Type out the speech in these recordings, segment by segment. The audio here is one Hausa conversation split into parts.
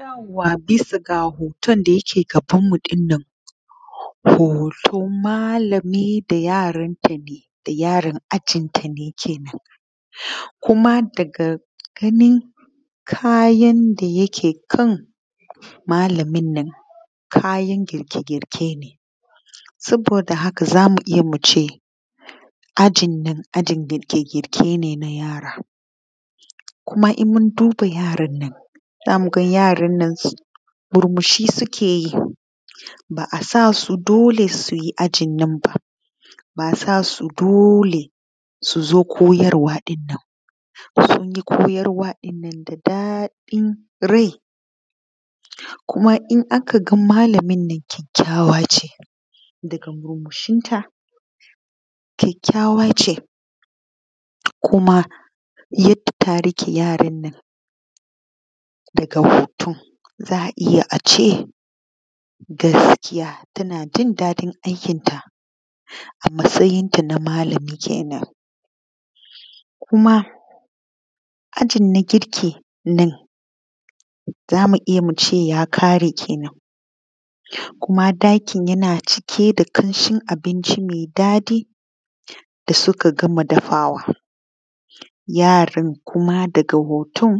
Yauwa bisa ga hoton da yake gabanmu ɗinnan hoton malami da yaranta ne yaran ajinta nake nufi kuma daga ganin kayan da yake kan malaminnan kayan gike-girke ne saboda haka za mu iya mu ce ajin nan na girke-girke ne na yara kuma in mun duba yaran nan za mu ga yarannan murmushi suke yi ba a sa su dole su yi ajin nan ba. Ba a sa su dole su zo koyarwa ɗin nan ba daga gani koyarwa ɗin nan akawai daɗin rai kuma in aka ga malamin nan kyakykyawa ne daga goshinta, kyakykyawa ce kuma yadda ta riƙe yaran nan daga hoton da a iya a ce gaskiya tana jin daɗin aikinta a matsayinta na malami kenan kuma jin a girkin nan za mu iya mu ce ya kare kenan kuma ɗakin yana cike da ƙamshin abinci ne me daɗi da suka gama dafawa. Yaran kuma daga hoton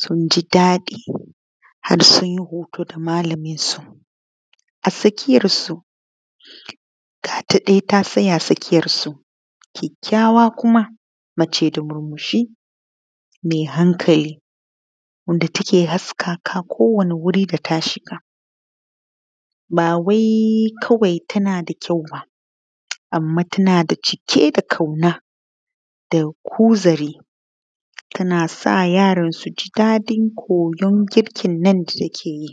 sun ji daɗi har sun yi hoto da malaminsu a tsakiyarsu, ga ta dai ta tsaya a tsakiyarsu, kyakykyawa kuma mace da murmushi me hankali wanda take haskaka duk wani wuri da ta shiga ba wai kawai tana da kyauba, anma tana da cike da ƙauna da kuzari tana sa yaran su ji daɗin koyan girkinnan da suke yi.